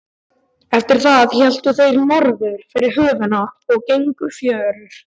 Eftir það héldu þeir norður fyrir höfnina og gengu fjörur.